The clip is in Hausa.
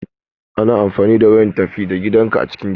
Ana amfani da wayan tafi da gidanka a cikin gida.